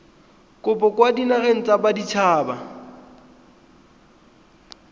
kopo kwa dinageng tsa baditshaba